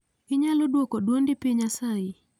Inyalo dwok dwondi piny asayi